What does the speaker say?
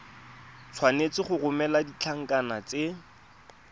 tshwanetse go romela ditlankana tse